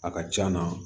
A ka c'a na